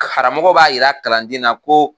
Karamɔgɔ b'a jira kalanden na ko